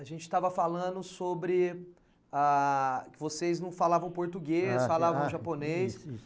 A gente estava falando sobre ah que vocês não falavam português, falavam japonês.